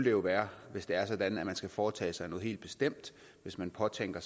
jo være hvis det er sådan at man skal foretage sig noget helt bestemt hvis man påtænker